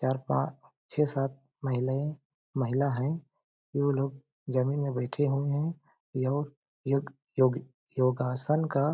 चार पांच छे सात महिले महिला है उ वो लोग जमीन में बैठे हुए है यो योग योगी योगासन का--